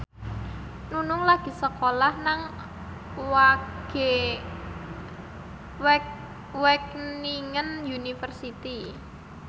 Nunung lagi sekolah nang Wageningen University